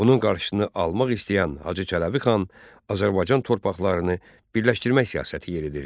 Bunun qarşısını almaq istəyən Hacı Çələbixan Azərbaycan torpaqlarını birləşdirmək siyasəti yeridirdi.